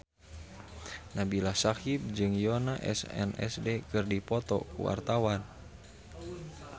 Nabila Syakieb jeung Yoona SNSD keur dipoto ku wartawan